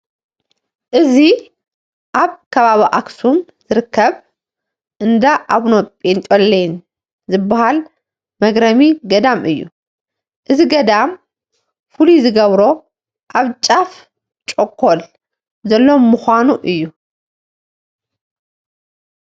እዚ ኣብ ከባቢ ኣኽሱም ዝርከብ እንዳ ኣቡነ ጰንጠሌዎን ዝበሃል መግረሚ ገዳም እዩ፡፡ እዚ ገዳም ፍሉይ ዝገብሮ ኣብ ጫፍ ጩኾል ዘሎ ምዃኑ እዩ፡፡